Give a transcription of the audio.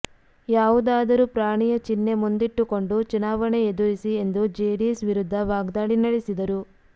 ಯಾವುದಾದರೂ ಪ್ರಾಣಿಯ ಚಿಹ್ನೆ ಮುಂದಿಟ್ಟುಕೊಂಡು ಚುನಾವಣೆ ಎದುರಿಸಿ ಎಂದು ಜೆಡಿಎಸ್ ವಿರುದ್ಧ ವಾಗ್ದಾಳಿ ನಡೆಸಿದರು